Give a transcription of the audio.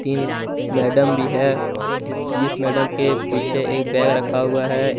तीन मैडम भी है जिस जिस मैडम के पीछे एक बैग रखा हुआ है।